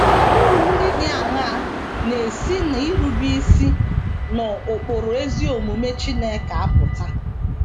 Uru ndị dị aṅaa na - esi n’irube isi n’ụkpụrụ ezi omume Chineke apụta?